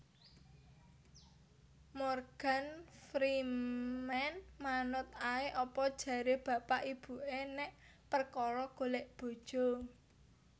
Morgan Freeman manut ae apa jare bapak ibu e nek perkoro golek bojo